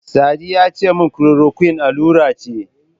Sadi yace min Chloroquine allura ce.